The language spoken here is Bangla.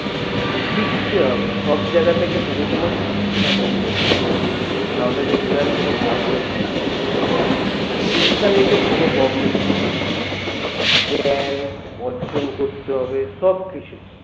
শিখতে হবে সব জায়গা থেকে তুমি তোমার শিক্ষাটা কুড়িয়ে নাও তাহলে দেখবে আর কোনো problem হবে না শিক্ষা নিলে কোনো problem হয় না অর্জন করতে হবে সবকিছুই